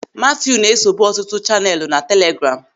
Matiu na-esobu ọtụtụ chaneelu na telegraamu.